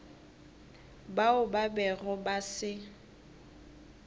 bao ba bego ba se